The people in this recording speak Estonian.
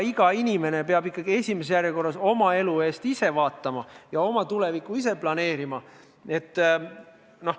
Iga inimene peab esimeses järjekorras oma elu ikkagi ise vaatama ja oma tulevikku ise planeerima.